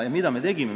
Mida meie teeme?